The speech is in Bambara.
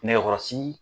Nɛgɛkɔrɔsigi